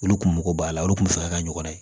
Olu kun mago b'a la olu kunfɛ ka ɲɔgɔ ye